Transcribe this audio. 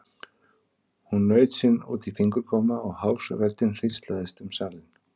Hún naut sín út í fingurgóma og hás röddin hríslaðist um salinn.